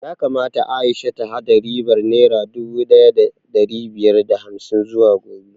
Yakamata Aisha ta haɗa ribar naira dubu ɗaya da ɗari biyar da hamsin zuwa gobe